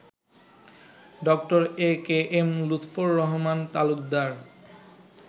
ড: A, K, M Lutfar Rahman Talukdar